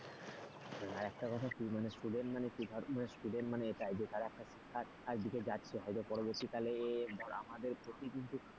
আর একটা কথা student মানে কি ধর student মানে এটাই। তার একটা হয়তো পরবর্তীকালে আমাদের প্রতি কিন্তু,